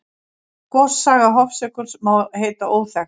Gossaga Hofsjökuls má heita óþekkt.